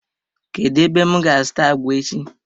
Kedu ebem ga azuta agwa echi?